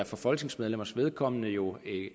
for folketingsmedlemmers vedkommende jo